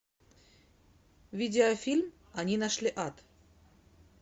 видеофильм они нашли ад